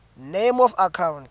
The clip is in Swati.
name of account